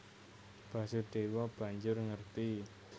Basudèwa banjur ngerti